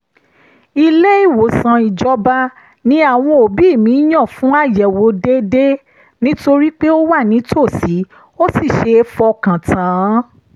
ilé-ìwòsàn ìjọba ni àwọn òbí mi yàn fún àyẹ̀wò déédéé nítorí pé ó wà nítòsí ó sì ṣeé fọkàn tán